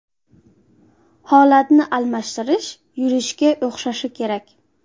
Holatni almashtirish yurishga o‘xshashi kerak.